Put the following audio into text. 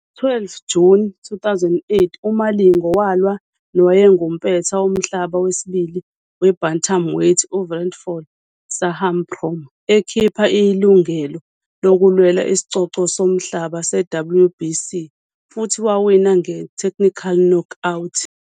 Ngo-12 Juni 2008 uMalingo walwa nowayengumpetha womhlaba wesibili we-bantamweight uVeeraphol Sahaprom ekhipha ilungelo lokulwela isicoco somhlaba se- WBC futhi wawina nge-technical knockout.